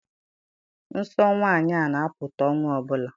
Nsọ nwaanyị na-apụta ọnwa ọbụla